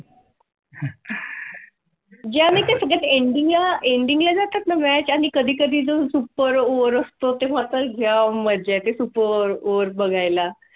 आम्ही सगळे India India जातात. match आणि कधी कधी जो Super वर असतो तेव्हा तर गाव म्हणजे खूप ओवर बघायला